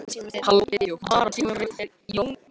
Samt ættum við ekki að þvertaka fyrir það, Valdimar.